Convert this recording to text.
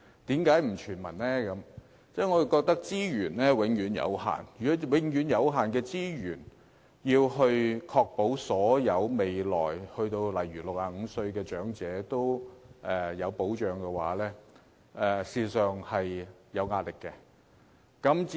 因為我們認為資源有限，用有限的資源來確保未來所有年屆65歲的長者也獲保障，事實上是有壓力的。